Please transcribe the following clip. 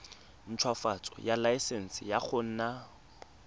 ntshwafatsa laesense ya go nna